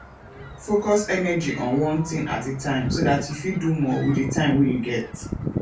focus energy on one thing at a time so dat you fit do more with di time wey you get